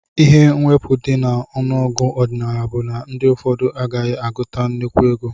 Ihe mwepu di na ọnụ ọgụgụ ọdinala bu na ndi ụfọdụ agaghi aguta nnekwu ego.